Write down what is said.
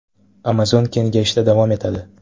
Amazon kengayishda davom etadi.